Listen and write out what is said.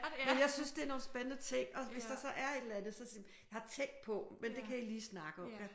Men jeg synes det er nogle spændende ting og hvis der så er et eller andet så siger jeg jeg har tænkt på men det kan I lige snakke om